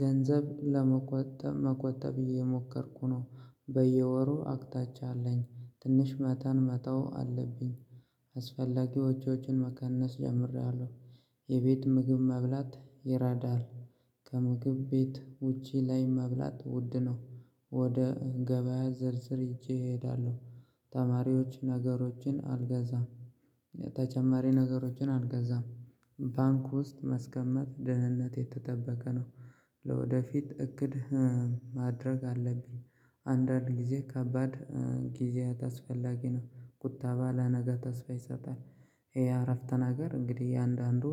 ገንዘብ ለመቆጠብ መቆጠብ እየሞከርኩ ነው በየወሩ አቅጣጫ አለኝ ትንሽ መጠን መተው አለብኝ። አስፈላጊ ወጪዎችን መቀነስ ጀምሬያለሁ የቤት ምግብ መብላት ይራዳል ከምግብ ቤት ውጪ ላይ መብላት ውድ ነው። ወደ ገበያ ዝርዝር ይዤ እሄዳለሁ። ተማሪዎች ነገሮችን አልገዛም። ተጨማሪ ነገሮችን አልገዛም ባንክ ውስጥ ማስቀመት ደህንነቱ የተጠበቀ ነው። ለወደፊት እቅድ ማድረግ አለብኝ። አንዳንድ ጊዜ ከባድ ጊዜያት አስፈላጊ ነው። ቁጠባ ለነገ ተስፋ ይሰጣል። ይሄ አረፍተ ነገር እንግዲህ እያንዳንዱ